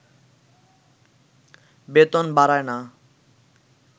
বেতন বাড়ায়না